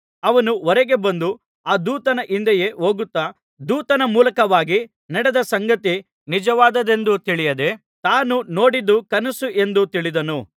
ಅವನು ಹೊರಗೆ ಬಂದು ಆ ದೂತನ ಹಿಂದೆಯೇ ಹೋಗುತ್ತಾ ದೂತನ ಮೂಲಕವಾಗಿ ನಡೆದ ಸಂಗತಿ ನಿಜವಾದದ್ದೆಂದು ತಿಳಿಯದೆ ತಾನು ನೋಡಿದ್ದು ಕನಸು ಎಂದು ತಿಳಿದನು